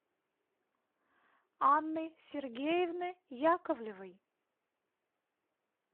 анны сергеевны яковлевой